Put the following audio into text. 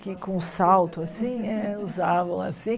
Que com salto, assim, é usavam, assim.